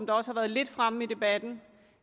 også har været lidt fremme i debatten